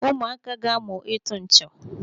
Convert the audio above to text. Ụmụaka ga-amụ ịtụ nchọ.